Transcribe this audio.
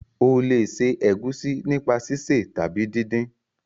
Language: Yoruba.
o le se egusi nípa sise tàbí din-din.